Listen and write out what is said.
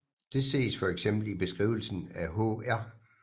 Det ses for eksempel i beskrivelsen af hr